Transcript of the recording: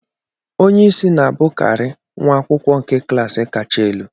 Onye isi na-abụkarị nwa akwụkwọ nke klas kacha elu.